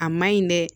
A ma ɲi dɛ